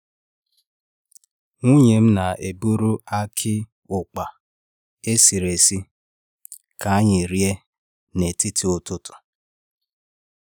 Nwunye m na-eburu aki ukpa esiri esị ka anyị rie n’etiti ụtụtụ.